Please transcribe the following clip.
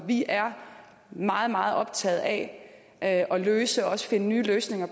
vi er meget meget optaget af at løse problemerne og også finde nye løsninger